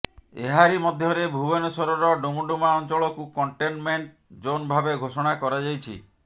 ଏହାରି ମଧ୍ୟରେ ଭୁବନେଶ୍ୱରର ଡୁମଡୁମା ଅଞ୍ଚଳକୁ କଣ୍ଟେନମେଣ୍ଟ ଜୋନ ଭାବେ ଘୋଷଣା କରାଯାଇଛି